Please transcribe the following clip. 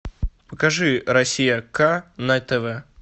покажи россия к на тв